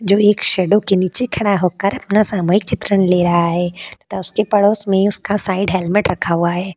जो एक शैडो के नीचे खड़ा होकर अपना सामूहिक चित्रण ले रहा है तथा उसके पड़ोस में उसका साइड हेलमेट रखा हुआ है।